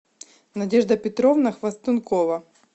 надежда петровна хвастункова